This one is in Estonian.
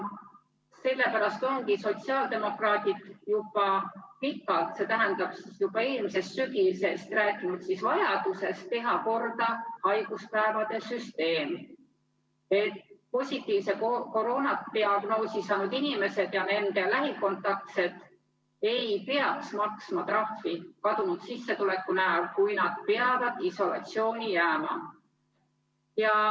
Sellepärast ongi sotsiaaldemokraadid juba pikalt, st juba eelmisest sügisest rääkinud vajadusest teha korda haiguspäevade süsteem, et positiivse koroonatesti tulemuse ja COVID-i diagnoosi saanud inimesed ja nende lähikontaktsed ei peaks maksma trahvi kadunud sissetuleku näol, kui nad peavad isolatsiooni jääma.